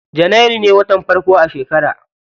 Janairu ne watan farko a shekara.